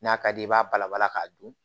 N'a ka d'i ye i b'a bala balala k'a dun